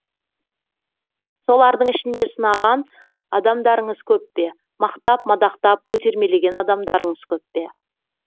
солардың ішінде сынаған адамдарыңыз көп пе мақтап мадақтап көтермелеген адамдарыңыз көп пе